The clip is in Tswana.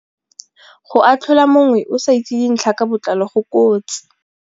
Go atlhola mongwe o sa itse dintlha ka botlalo go kotsi.